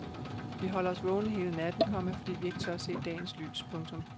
Vi holder os vågne hele natten, komma fordi vi ikke tør se dagens lys. punktum